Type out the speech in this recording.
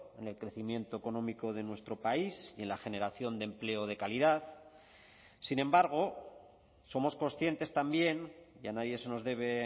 en el crecimiento económico de nuestro país y en la generación de empleo de calidad sin embargo somos conscientes también y a nadie se nos debe